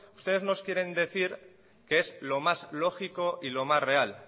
ustedes nos quieren decir que es lo más lógico y lo más real